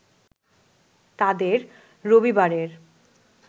তাদের রবিবারের